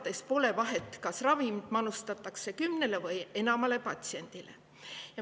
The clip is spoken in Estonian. Tema arvates pole vahet, kas ravimit manustatakse kümnele või enamale patsiendile.